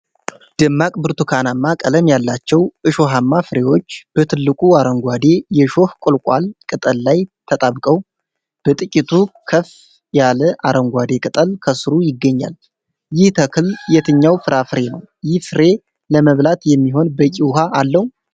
ደማቅ ብርቱካናማ ቀለም ያላቸው እሾሃማ ፍሬዎች፣ በትልቁ አረንጓዴ የሾህ ቁልቋል ቅጠል ላይ ተጣብቀው ፣ በጥቂቱ ከፍ ያለ አረንጓዴ ቅጠል ከስሩ ይገኛል። ይህ ተክል የትኛው ፍራፍሬ ነው? ይህ ፍሬ ለመብላት የሚሆን በቂ ውኃ አለው?